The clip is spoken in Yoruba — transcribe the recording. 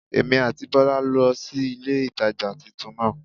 Èmí àti Bólá lo sí ilé ìtajà titun náà